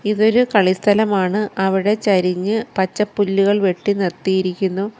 ഇതൊരു കളി സ്ഥലമാണ് അവിടെ ചരിഞ്ഞ് പച്ച പുല്ലുകൾ വെട്ടി നിർത്തിയിരിക്കുന്നു.